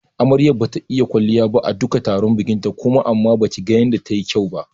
Amaryar bata yi kwalliya ba a duka tarukan bikinta kuma amma baki ga yanda ta yi kyau ba.